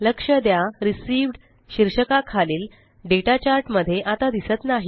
लक्ष द्या रिसीव्ह्ड शीर्षका खालील डेटा चार्ट मध्ये आता दिसत नाही